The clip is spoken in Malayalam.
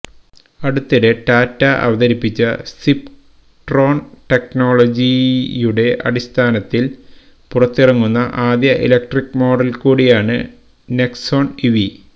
അടുത്തിടെ ടാറ്റ അവതരിപ്പിച്ച സിപ്ട്രോണ് ടെക്നോളജിയുടെ അടിസ്ഥാനത്തില് പുറത്തിറങ്ങുന്ന ആദ്യ ഇലക്ട്രിക് മോഡല് കൂടിയാണ് നെക്സോണ് ഇവി